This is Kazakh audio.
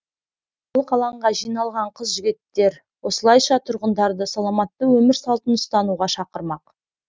орталық алаңға жиналған қыз жігіттер осылайша тұрғындарды саламатты өмір салтын ұстануға шақырмақ